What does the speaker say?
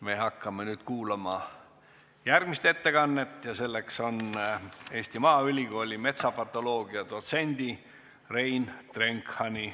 Me hakkame nüüd kuulama järgmist ettekannet ja selleks on Eesti Maaülikooli metsapatoloogia dotsendi Rein Drenkhani ettekanne.